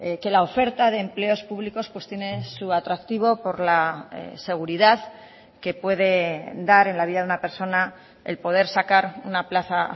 que la oferta de empleos públicos tiene su atractivo por la seguridad que puede dar en la vida de una persona el poder sacar una plaza